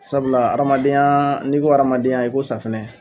Sabula hadamadenya n'i ko hadamadenya i ko safunɛ.